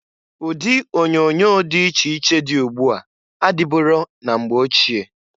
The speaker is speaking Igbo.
Ụdị onyoonyo dị iche iche dị ugbu a adịburo na mgbe ochie.